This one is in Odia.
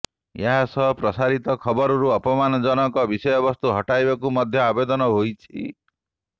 ଏହା ସହ ପ୍ରସାରିତ ଖବରରୁ ଅପମାନଜନକ ବିଷୟବସ୍ତୁକୁ ହଟାଇବାକୁ ମଧ୍ୟ ଆବେଦନ ହୋଇଛି